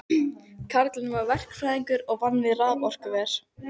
Kallinn var verkfræðingur og vann við raforkuver.